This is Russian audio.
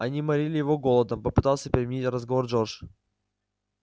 они морили его голодом попытался переменить разговор джордж